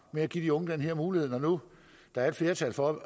med at give de unge den her mulighed når nu der er et flertal for at